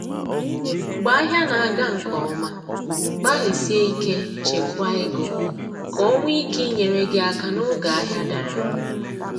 Mgbe ahịa na aga nke ọma, gbalịsie ike chekwaa ego, ka o nwee ike inyere gị aka n’oge ahịa dara